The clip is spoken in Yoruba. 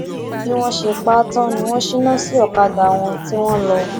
bí wọn ṣe pa á tán ni wọn ṣínà sí ọkadà wọn tí wọn lọ